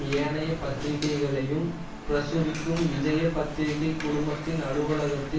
ஏனைய பத்திரிகைகளையும் பிரசுரிக்கும் விஜய பத்திரிகை குழுமத்தின் அலுவலகத்தில்